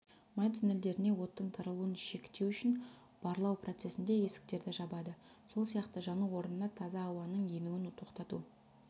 май туннельдеріне оттың таралуын шектеу үшін барлау процесінде есіктерді жабады сол сияқты жану орнына таза ауаның енуін тоқтату